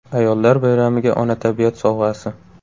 Ayollar bayramiga Ona tabiat sovg‘asi.